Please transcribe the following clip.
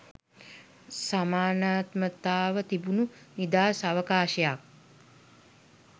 සමානාත්මතාව තිබුනු නිදහස් අවකාශයක්.